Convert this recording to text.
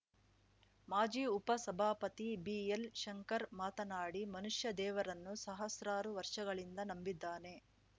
ಮಾಜಿ ಉಪ ಸಭಾಪತಿ ಬಿಎಲ್‌ ಶಂಕರ್‌ ಮಾತನಾಡಿ ಮನುಷ್ಯ ದೇವರನ್ನು ಸಹಸ್ರಾರು ವರ್ಷಗಳಿಂದ ನಂಬಿದ್ದಾನೆ